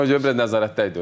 Ona görə biraz nəzarətdə idi.